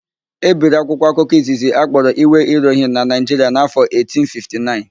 E biri akwụkwọ akụkọ izizi akpọrọ Iwe Irohin na Naịjiria n'áfọ̀ 1859.